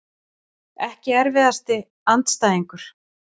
Ekki erfiðasti andstæðingur?